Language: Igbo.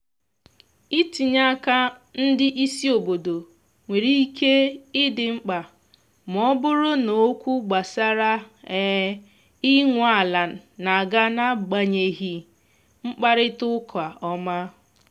itinye aka ndị isi obodo nwere ike idi mkpa ma ọ bụrụ na okwu gbasara inwe ala n'aga na agbanyeghị mkparịta ụka ọma